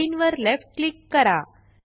plain वर left click करा